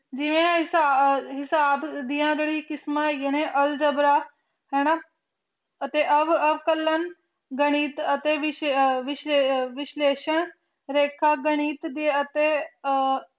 ਜਿਵੇਂ ਹਿਸਾਬ ਦੀਆਂ ਜੈਰੀ ਕਿਸਮਾਂ ਨੇ ਹੈਗੀਆਂ ਨੇ ਅਲਜਬਰਾ ਹਾਨਾ ਅਤੇ ਅਕਲਾਂ ਤੇ ਗਾਨਿਥ ਵਿਸ਼ਲੈਸ਼ਾਂ ਲਿਖ ਗਾਨਿਥ ਦੀ ਅਤੇ